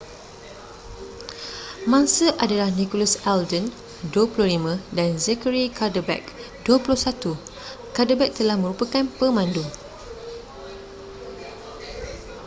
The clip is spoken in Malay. mangsa adalah nicholas alden 25 dan zachary cuddeback 21 cuddeback telah merupakan pemandu